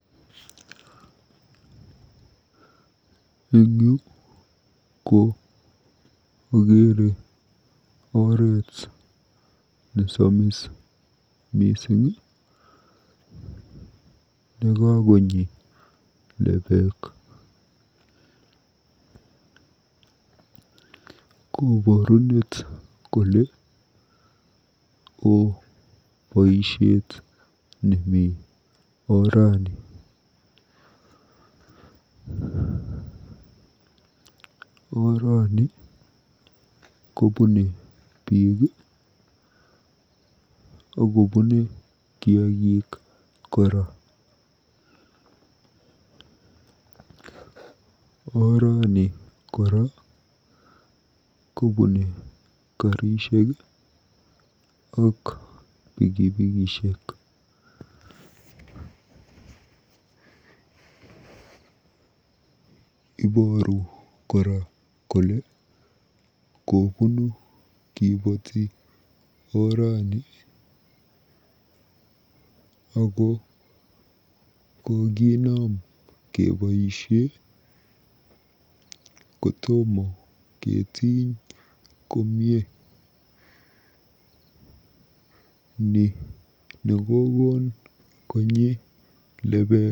Eng yu ko akeere oret nesamis mising nekakonyi lepeek. Koborunet kole oo boisiet nemi orani. Orani kobune biik akobune kiagik kora. Orani kora kopune karishek ak pikipikishek. Ibooru kora kolekobuunu kiboti orani ako kokinam keboisie kotomo ketiny komie. Ni nekokon konyi lepek.